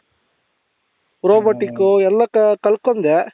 robotic ಎಲ್ಲಾ ಕಲ್ತ್ಕೊಂಡೆ